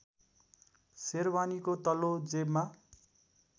सेरबानीको तल्लो जेबमा